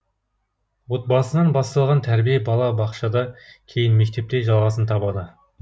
отбасынан басталған тәрбие бала бақшада кейін мектепте жалғасын табады